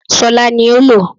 Ṣọlá ní ó lò ó